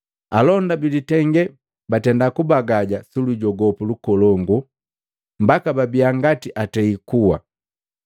Alonda bilitenge batenda kubagaja sulujogopu lukolongu, mbaka babia ngati atei kua.